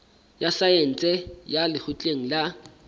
ya saense ya lekgotleng la